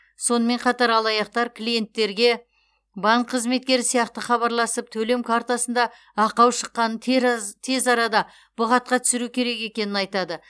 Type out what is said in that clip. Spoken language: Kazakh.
сонымен қатар алаяқтар клиенттерге банк қызметкері сияқты хабарласып төлем картасында ақау шыққанын тераз тез арада бұғатқа түсіру керек екенін айтады